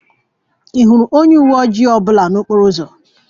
Ị hụla onye uwe ojii ọ bụla n'okporo ụzọ?